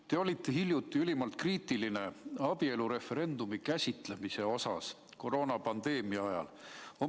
Te olite hiljuti ülimalt kriitiline abielureferendumi käsitlemise osas koroonapandeemia ajal.